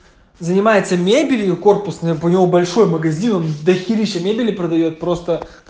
занимается мебелью корпусная у него большой магазин он до хери ща мебели продаёт просто